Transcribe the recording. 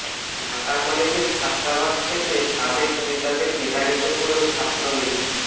ঢাকা কলেজের ছাত্রাবাস থেকে সাবেক নেতাদের বিতাড়িত করল ছাত্রলীগ